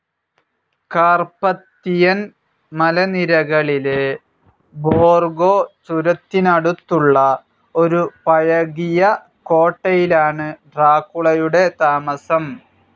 Carpathian മലനിരകളിലെ Borgo ചുരത്തിനടുത്തുള്ള ഒരു പഴകിയ കോട്ടയിലാണ് ഡ്രാക്കുളയുടെ താമസം.